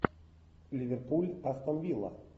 ливерпуль астон вилла